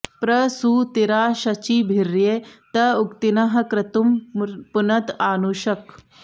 प्र सू ति॑रा॒ शची॑भि॒र्ये त॑ उ॒क्थिनः॒ क्रतुं॑ पुन॒त आ॑नु॒षक्